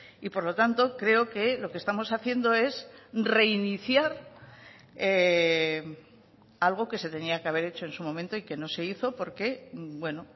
y por lo tanto creo que lo que estamos haciendo es reiniciar algo que se tenía que haber hecho en su momento y que no se hizo porque bueno